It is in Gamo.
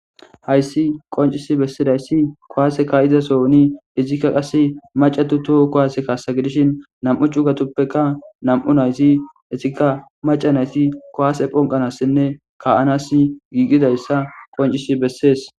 hayssi qoncisi bessidayssi kowaase kaiza sooni izikka qasse macatu toho kowaase kaassa gidishin nam7u cugatoppeka nam7u nayti etikka maca nayti kowase phonqanassinne ka7anas giigidayssa qoncisi bessees